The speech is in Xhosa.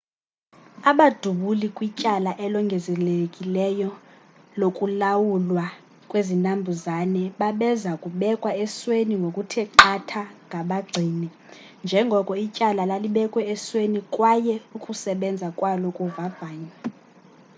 abadubuli kwityala elongezelelekileyo lokulawulwa kwezinambuzane babeza kubekwa esweni ngokuthe qatha ngabagcini njengoko ityala lalibekwe esweni kwaye ukusebenza kwalo kuvavanywa